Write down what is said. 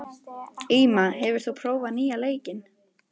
Íma, hefur þú prófað nýja leikinn?